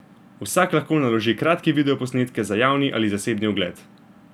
Vsak lahko naloži kratke video posnetke za javni ali zasebni ogled.